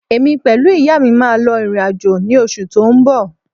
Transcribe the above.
Èmi pẹ̀lú ìyá mi máa lọ ìrìn-àjò ní oṣù tó ń bọ̀